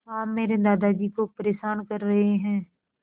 आप मेरे दादाजी को परेशान कर रहे हैं